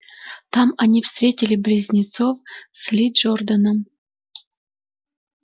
там они встретили близнецов с ли джорданом